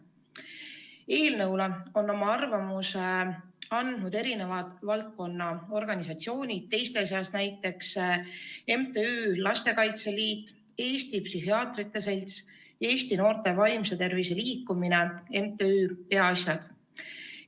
Eelnõu kohta on oma arvamuse esitanud mitmed selle valdkonna organisatsioonid, teiste seas MTÜ Lastekaitse Liit, Eesti Psühhiaatrite Selts, Eesti Noorte Vaimse Tervise Liikumine ja MTÜ Peaasjad.